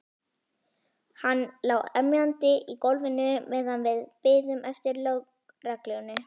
Hann lá emjandi í gólfinu meðan við biðum eftir lögreglunni.